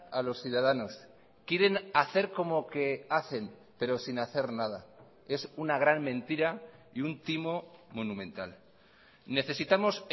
a los ciudadanos quieren hacer como que hacen pero sin hacer nada es una gran mentira y un timo monumental necesitamos